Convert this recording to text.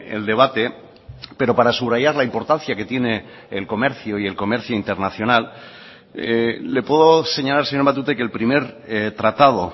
el debate pero para subrayar la importancia que tiene el comercio y el comercio internacional le puedo señalar señor matute que el primer tratado